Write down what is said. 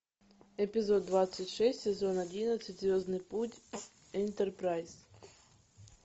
эпизод двадцать шесть сезон одиннадцать звездный путь энтерпрайз